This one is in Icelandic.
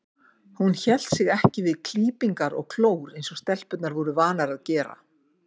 Hún hélt sig ekki við klípingar og klór eins og stelpurnar voru vanar að gera.